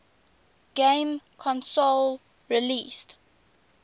game console released